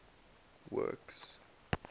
works